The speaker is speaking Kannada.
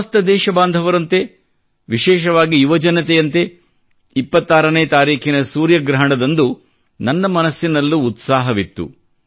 ಸಮಸ್ತ ದೇಶಬಾಂಧವರಂತೆ ವಿಶೇಷವಾಗಿ ಯುವಜನತೆಯಂತೆ 26 ನೇ ತಾರೀಖಿನ ಸೂರ್ಯಗ್ರಹಣದಂದು ನನ್ನ ಮನದಲ್ಲೂ ಉತ್ಸಾಹವಿತ್ತು